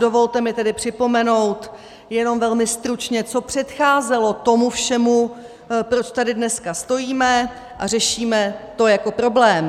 Dovolte mi tedy připomenout jenom velmi stručně, co předcházelo tomu všemu, proč tady dneska stojíme a řešíme to jako problém.